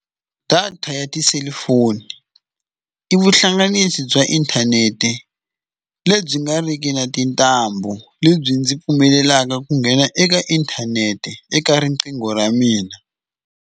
Data ya tiselifoni i vuhlanganisi bya inthanete lebyi nga riki na tintambu lebyi ndzi pfumelelaka ku nghena eka inthanete eka riqingho ra mina.